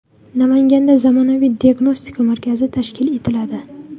Namanganda zamonaviy diagnostika markazi tashkil etiladi.